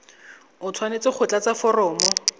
o tshwanetse go tlatsa foromo